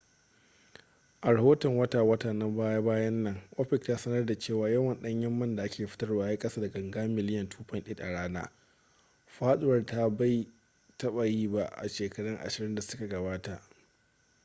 a rahoton wata-wata na baya-bayan nan opec ta sanarda cewa yawan ɗanyen man da ake fitarwa ya yi kasa da ganga miliyan 2.8 a rana faɗuwar da bai taɓa yi ba a shekaru ashirin da suka gabata